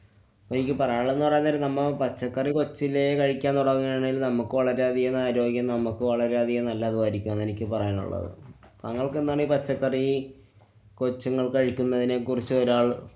എനിക്ക് പറയാനുള്ളതെന്ന് പറയാന്‍ നേരം നമ്മ പച്ചക്കറി കൊച്ചിലെ കഴിക്കാന്‍ തുടങ്ങുകയാണെങ്കില്‍ നമ്മക്ക് വളരെയധികം ആരോഗ്യം, നമ്മക്ക് വളരെയധികം നല്ലതും ആയിരിക്കും അതാണെനിക്ക് പറയാനുള്ളത്. താങ്കള്‍ക്കെന്താണീ പച്ചക്കറി കൊച്ചുങ്ങള്‍ കഴിക്കുന്നതിനെ കുറിചൊരാള്‍